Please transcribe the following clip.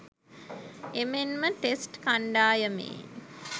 එමෙන්ම ටෙස්ට් කන්ඩායමේ